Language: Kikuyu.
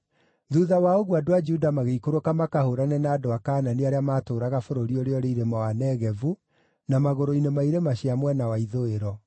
Thuutha wa ũguo, andũ a Juda magĩikũrũka makahũũrane na andũ a Kaanani arĩa maatũũraga bũrũri ũrĩa ũrĩ irĩma wa Negevu na magũrũ-inĩ ma irĩma cia mwena wa ithũĩro.